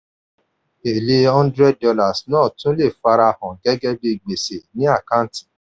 èlé hundred dollars náà tún le farahàn gẹ́gẹ́ bí gbèsè ní àkántì.